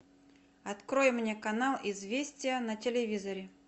открой мне канал известия на телевизоре